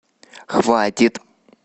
хватит